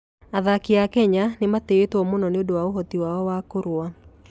Athaki a Kenya nĩ matĩĩtwo mũno nĩ ũndũ wa ũhoti wao wa kũrũa.